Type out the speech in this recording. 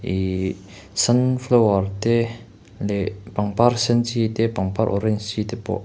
ihhh sunflower te leh pangpar sen chi te pangpar orange chi te pawh.